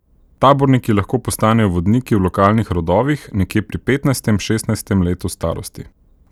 Taborniki lahko postanejo vodniki v lokalnih rodovih nekje pri petnajstem, šestnajstem letu starosti.